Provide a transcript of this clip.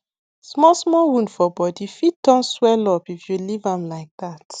small small wound for body fit turn swellup if you leave am like that